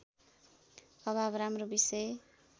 अभाव राम्रो विषय